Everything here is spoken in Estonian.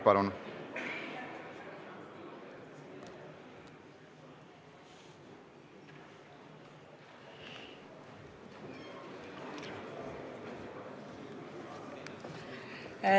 Palun!